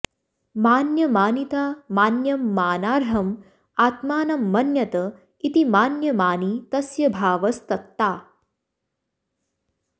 मान्यमानिता मान्यं मानार्हं आत्मानं मन्यत इति मान्यमानी तस्य भावस्तत्ता